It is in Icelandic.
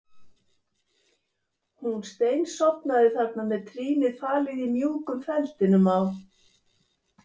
Hún steinsofnaði þarna með trýnið falið í mjúkum feldinum á